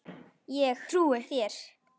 Ég trúi þér